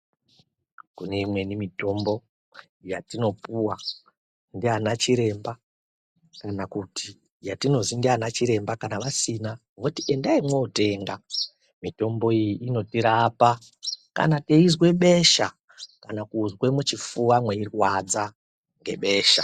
Kune imweni mutombo yatinopuwa ndiana chiremba kana kuti yatinozi ndiana chiremba kana vasina voti endai munotenga, mitombo iyi inotirapa kana teizwe besha kana kuzwe muchifuva meirwadza ngebesha.